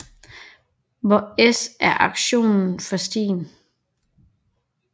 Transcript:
Hvor S er aktionen for stien